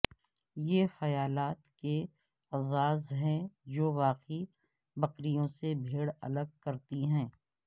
یہ خیالات کے اعزاز ہیں جو واقعی بکریوں سے بھیڑ الگ کرتی ہیں